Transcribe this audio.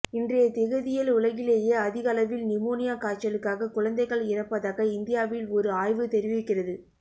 இன்றைய திகதியில் உலகிலேயே அதிகளவில் நிமோனியா காய்ச்சலுக்காக குழந்தைகள் இறப்பதாக இந்தியாவில் ஒரு ஆய்வு தெரிவிக்கிறது